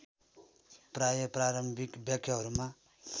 प्राय प्रारम्भिक व्याख्याहरूमा